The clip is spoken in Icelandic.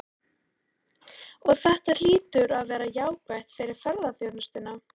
Og þetta hlýtur að vera jákvætt fyrir ferðaþjónustuna?